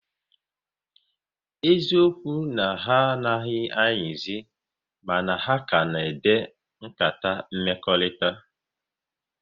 Eziokwu na ha anaghị ayizi, mana ha ka na-ede nkata mmekọrịta